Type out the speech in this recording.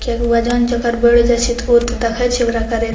किया की वजन जकड़ बढ़ जाय छै ते ओ ते देखे छै ओकरा करेत।